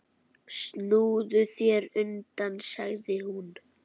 Snúðu þér undan, sagði hún.